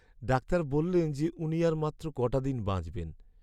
Doctor বললেন যে উনি আর মাত্র ক'টা দিন বাঁচবেন।